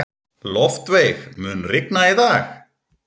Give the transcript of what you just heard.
Loftveig, mun rigna í dag?